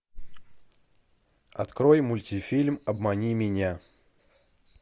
открой мультифильм обмани меня